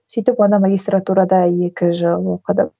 сөйтіп ана магистратурада екі жыл оқыдым